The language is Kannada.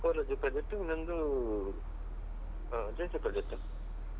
Project ಇನ್ನೊಂದೂ ಅ JC project.